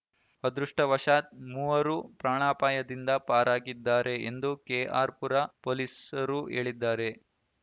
ಅದೃಷ್ಟವಶಾತ್‌ ಮೂವರು ಪ್ರಾಣಾಪಾಯದಿಂದ ಪರಾಗಿದ್ದಾರೆ ಎಂದು ಕೆಆರ್‌ಪುರ ಪೊಲೀಸರು ಹೇಳಿದ್ದಾರೆ